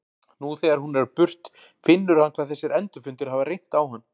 Nú þegar hún er á burt finnur hann hvað þessir endurfundir hafa reynt á hann.